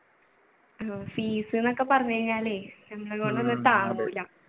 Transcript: fees ന്ന് ഒക്കെ പറഞ്ഞു കഴിഞ്ഞാലേ നമ്മളെ കൊണ്ടൊന്നും താങ്ങൂല.